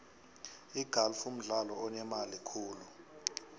igalfu mdlalo onemali khulu